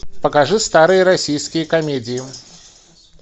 покажи старые российские комедии